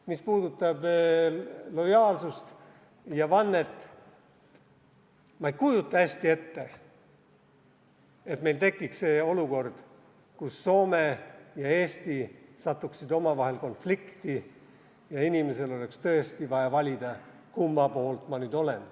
Mis puudutab lojaalsust ja vannet, siis ma ei kujuta hästi ette, et meil tekiks olukord, kus Soome ja Eesti satuksid omavahel konflikti ja inimesel oleks tõesti vaja valida, kumma poolt ta nüüd on.